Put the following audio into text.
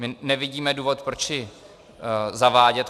My nevidíme důvod, proč ji zavádět.